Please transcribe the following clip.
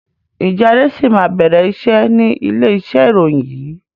Ǹjẹ́ Adé sì máa bẹ̀rẹ̀ iṣẹ́ ni ilé iṣẹ́ ìròyìn yìí?